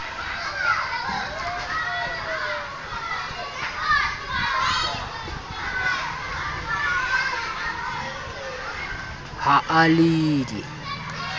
ha a le d e